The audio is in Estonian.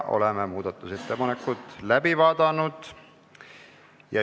Oleme muudatusettepanekud läbi vaadanud.